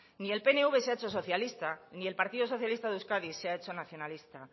ni el pnv se ha hecho socialista ni el partido socialista de euskadi se ha hecho nacionalista